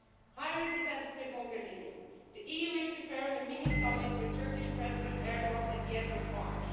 High Representative Mogherini, the EU is preparing a mini summit with Turkish President Erdogan at the end of March.